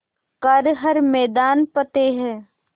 कर हर मैदान फ़तेह